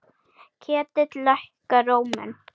Ketill lækkar róminn.